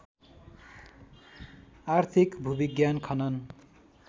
आर्थिक भूविज्ञान खनन